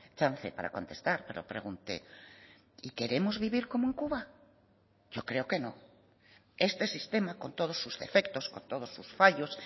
chance para contestar pero pregunté y queremos vivir como en cuba yo creo que no este sistema con todos sus defectos con todos sus fallos